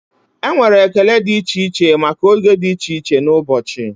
Enwere ekele dị iche iche maka oge dị iche iche n'ụbọchị.